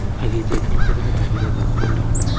Ak icheng en chesanet ab ibiret ab keldo.